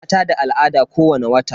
Mata da al'ada kowani wata.